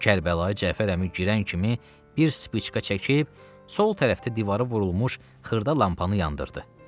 Kərbəlayi Cəfər əmi girən kimi bir spicka çəkib sol tərəfdə divara vurulmuş xırda lampanı yandırdı.